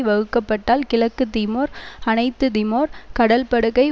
வகுக்கப்பட்டால் கிழக்கு திமோர் அனைத்து திமோர் கடல்படுகை